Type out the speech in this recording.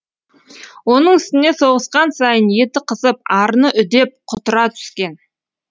оның үстіне соғысқан сайын еті қызып арыны үдеп құтыра түскен